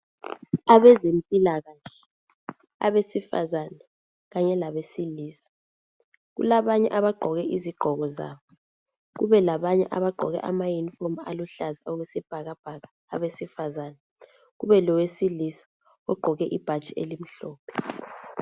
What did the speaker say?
Abazempilakahle, abesifazana, kanye labesilisa. Kulabanye abagqoke izigqoko zabo, kube labanye abagqoke ama yunifomu aluhlaza okwesibhakabhaka, abesifazana. Kube lowesilisa ogqoke ibhatshi elimhlophe.